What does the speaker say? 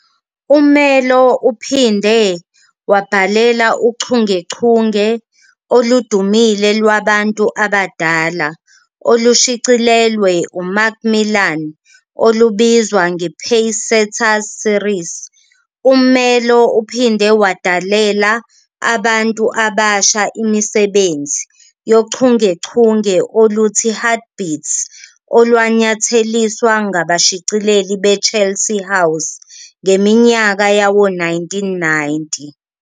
Umelo uphinde wabhalela uchungechunge oludumile lwabantu abadala olushicilelwe uMacmillan, olubizwa ngePacesetters Series. U-Umelo uphinde wadalela abantu abasha imisebenzi yochungechunge oluthi "Heart Beats", olwanyatheliswa ngabashicileli be-Chelsea House ngeminyaka yawo-1990.